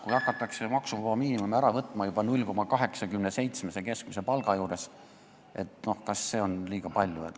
Kui hakatakse maksuvaba miinimumi ära võtma juba palga puhul, mis on 0,87 keskmist palka, siis kas seda palka on ikka liiga palju?